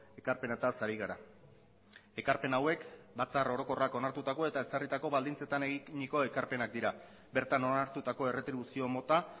ekarpenetaz ari gara ekarpen hauek batzar orokorrak onartutako eta ezarritako baldintzetan eginiko ekarpenak dira bertan onartutako erretribuzio mota